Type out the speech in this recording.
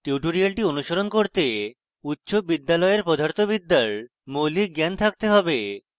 tutorial অনুসরণ করতে উচ্চ বিদ্যালয়ের পদার্থবিদ্যার মৌলিক জ্ঞান থাকতে have